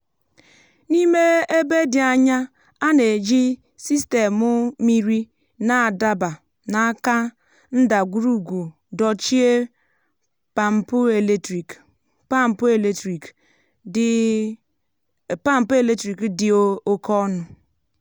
n’ime ebe dị anya a na-eji sistemụ mmiri na-adaba n’áká ndagwùrùgwù dochie pampụ eletrik dị pampụ eletrik dị oke ọnụ.